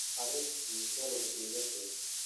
arrin xiiso leh iiga sheeg